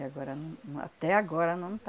E agora num, num até agora não está.